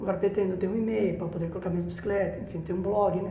Agora pretendo, eu tenho um e-mail para poder colocar minhas bicicletas, enfim, tenho blog, né?